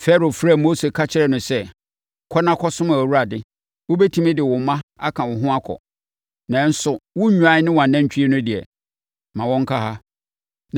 Farao frɛɛ Mose ka kyerɛɛ no sɛ, “Kɔ na kɔsom Awurade. Wobɛtumi de wo mma aka wo ho akɔ; nanso wo nnwan ne wʼanantwie no deɛ, ma wɔnka ha.”